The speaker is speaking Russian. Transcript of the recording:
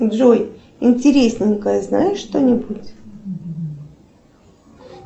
джой интересненькое знаешь что нибудь